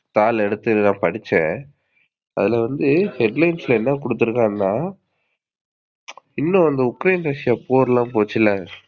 தாள் எடுத்து படிச்சேன். அதுல வந்து headlines ல என்ன குடுத்துருக்கான்னா இன்னோம் அந்த உக்ரேன், ரஸ்ஸியா போர்லாம் போச்சுல,